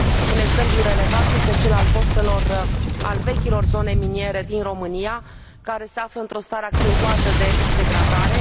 Un exemplu relevant este cel al vechilor zone miniere din România, care se află într o stare accentuată de degradare.